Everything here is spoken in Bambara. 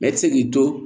Mɛ i tɛ se k'i to